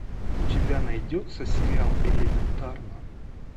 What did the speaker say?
у тебя найдется сериал элементарно